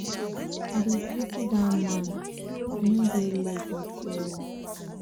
i dey pity dat man he no get leg at all.